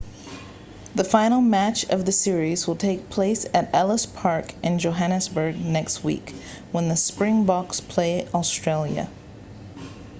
the final match of the series will take place at ellis park in johannesburg next week when the springboks play australia